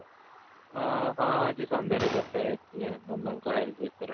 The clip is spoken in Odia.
ଅ ହଁ ଆଜି ସନ୍ଧ୍ୟାରେ କଥା ହେଇଥିଲି ମାମାଙ୍କ health ବିଷୟରେ